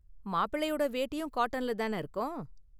மாப்பிள்ளையோட வேட்டியும் காட்டன்ல தான இருக்கும்?